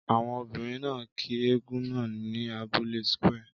Àwọn obìnrin náà kí eégún náà ní abúlé square.